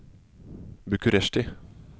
Bucuresti